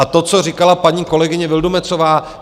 A to, co říkala paní kolegyně Vildumetzová.